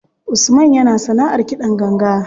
Usman yana sanaʼar kiɗan ganga.